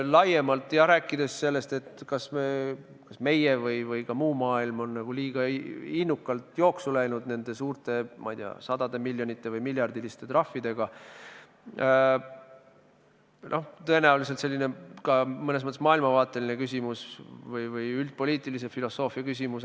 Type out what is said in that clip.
Laiemalt, jah, rääkides sellest, kas meie või ka muu maailm on liiga innukalt jooksu läinud nende suurte, ma ei tea, sajamiljoniliste või miljardiliste trahvidega, siis tõenäoliselt see on mõnes mõttes maailmavaatelise või üldpoliitilise filosoofia küsimus.